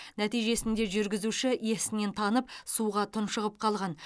нәтижесінде жүргізуші есінен танып суға тұншығып қалған